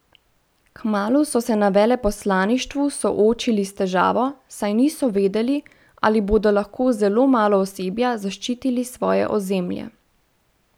Kmalu so se na veleposlaništvu soočili s težavo, saj niso vedeli, ali bodo lahko z zelo malo osebja zaščitili svoje ozemlje.